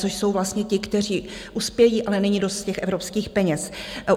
, což jsou vlastně ti, kteří uspějí, ale není dost těch evropských peněz.